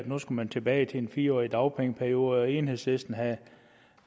nu skulle tilbage til en fire årig dagpengeperiode og enhedslisten havde